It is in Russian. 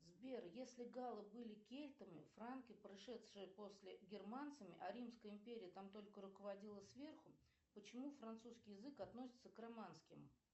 сбер если гало были кельтами франки пришедшие после германцами а римская империя там только руководила сверху почему французский язык относится к романским